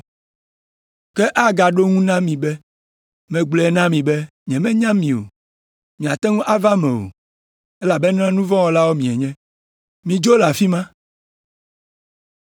“Ke agaɖo eŋu na mi be, ‘Megblɔe na mi be nyemenya mi o. Miate ŋu ava eme o, elabena nu vɔ̃ wɔlawo mienye. Midzo le afi ma.’